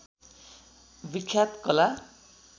विख्यात कला